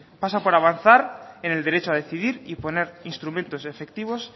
pasa para avanzar en el derecho a decidir y poner instrumentos efectivos